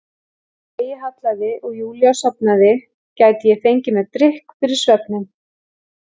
Þegar degi hallaði og Júlía sofnaði gæti ég fengið mér drykk fyrir svefninn.